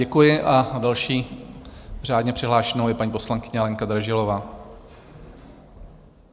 Děkuji a další řádně přihlášenou je paní poslankyně Lenka Dražilová.